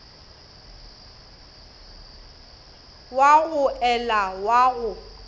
wa go ela wa go